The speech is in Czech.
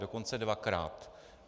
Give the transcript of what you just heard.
Dokonce dvakrát.